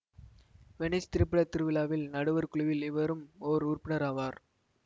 Venice திரைப்பட திருவிழாவில் நடுவர் குழுவில் இவரும் ஓர் உறுப்பினர் ஆவார்